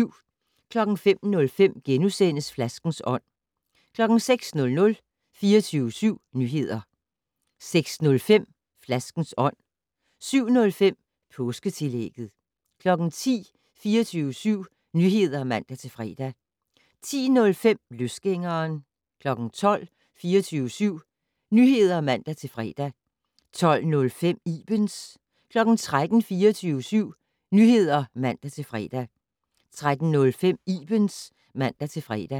05:05: Flaskens ånd * 06:00: 24syv Nyheder 06:05: Flaskens ånd 07:05: Påsketillægget 10:00: 24syv Nyheder (man-fre) 10:05: Løsgængeren 12:00: 24syv Nyheder (man-fre) 12:05: Ibens 13:00: 24syv Nyheder (man-fre) 13:05: Ibens (man-fre)